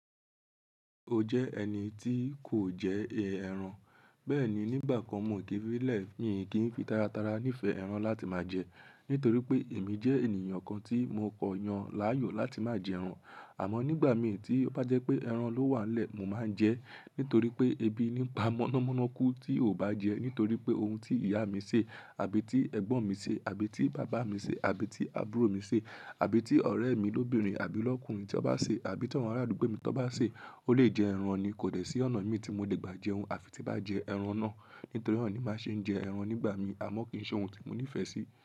O jẹ́ ẹni tí kò jẹ ẹran. Bẹ́ẹ̀ ni, nígbà kan mò n kí filẹ̀ yín kí n fi taratara nífẹ̀ẹ́ ẹran láti máa jẹ. Nítorí pé èmi jẹ́ ènìyàn kan tí mo kọ̀ yàn láàyò láti máa jẹ ẹran. Àmọ́ nígbà mi tí ó bá jẹ́ pé ẹran ló wà lẹ́, mo máa ń jẹ ẹ́. Nítorí pé ebi ni pa mọ́nàmọ́ná kú tí o bá jẹ ẹ́. Nítorí pé oun tí ìyá mi ṣe, àbí tí ẹ̀gbọ́n mi ṣe, àbí tí bàbá mi ṣe, àbí tí àbúrò mi ṣe, àbí tí ọ̀rẹ́ mi lóbìnrin àbí lọ́kùnrin tí ó bá ṣe, àbí tí ọ̀ràn arúgbó mi tí ó bá ṣe, ó lè jẹ ẹran ni kò dẹ̀ sí ọ̀nà mi tí mo lè gbà jẹ oun àfi tí bá jẹ ẹran náà. Nítorí na ni máa ṣe ń jẹ ẹran nígbà mi, àma kì í ṣe oun tí mo nífẹ̀ẹ́ sí.